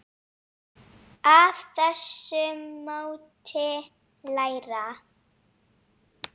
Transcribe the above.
Af þessu mátti læra.